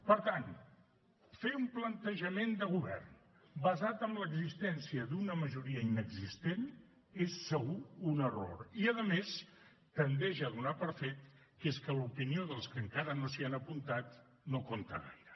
per tant fer un plantejament de govern basat en l’existència d’una majoria inexistent és segur un error i a més tendeix a donar per fet que és que l’opinió dels que encara no s’hi han apuntat no compta gaire